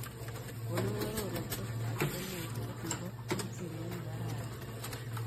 Konon arorutietap yiemutyet ne po simoit negararan